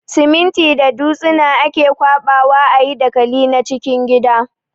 Siminti da dutsina ake ƙwaɓa wa a yi dakali na cikin gida.